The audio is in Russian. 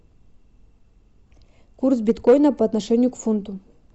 курс биткоина по отношению к фунту